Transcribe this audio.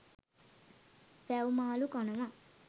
වැව් මාළු කනවා.